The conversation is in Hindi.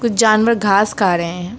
कुछ जानवर घास खा रहे हैं।